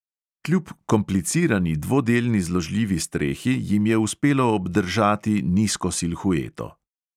Kljub komplicirani dvodelni zložljivi strehi jim je uspelo obdržati nizko silhueto.